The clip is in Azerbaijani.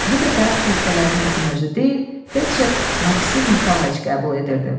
Bu dəfə xəstələri həkim özü deyil, felçer Maksim Nikolayc qəbul edirdi.